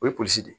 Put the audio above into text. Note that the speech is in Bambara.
O ye polisi de ye